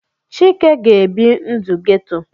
Chike ga-ebi ndụ ghetto.